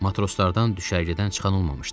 Matroslardan düşərgədən çıxan olmamışdı.